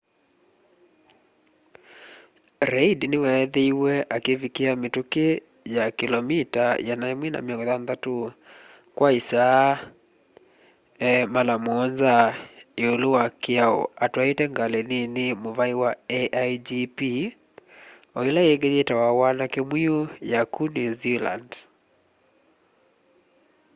reid niweethiiwe akivikia mituki ya kilomita 160 kwa isaa mara muonza iulu wa kiao atwaite ngali nini muvai wa aigp o ila ingi yitawa wanake mwiu ya ku new zealand